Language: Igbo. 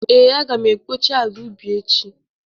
Ee, Aga m ekpocha ala ubi echi